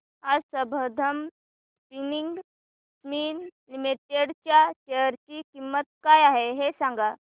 आज Sambandam spinning mills limited च्या share ची किंमत काय आहे हे सांगा